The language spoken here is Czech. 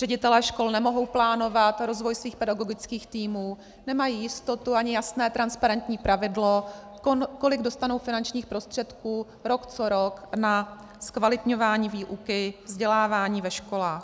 Ředitelé škol nemohou plánovat rozvoj svých pedagogických týmů, nemají jistotu ani jasné transparentní pravidlo, kolik dostanou finančních prostředků rok co rok na zkvalitňování výuky vzdělávání ve školách.